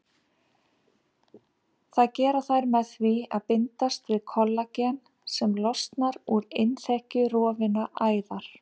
Það gera þær með því að bindast við kollagen sem losnar úr innþekju rofinnar æðar.